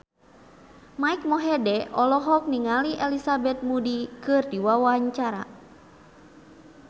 Mike Mohede olohok ningali Elizabeth Moody keur diwawancara